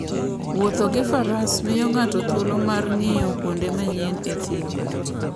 Wuotho gi Faras miyo ng'ato thuolo mar ng'iyo kuonde manyien e thim.